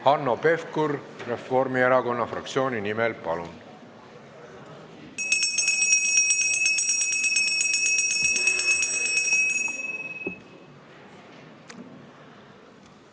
Hanno Pevkur Reformierakonna fraktsiooni nimel, palun!